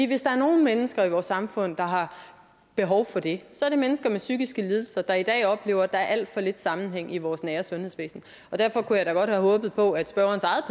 hvis der er nogen mennesker i vores samfund der har behov for det så er det mennesker med psykiske lidelser der i dag oplever at der er alt for lidt sammenhæng i vores nære sundhedsvæsen derfor kunne jeg da godt have håbet på at spørgerens eget